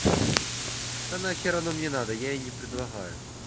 да нахер она мне надо я и не предлагаю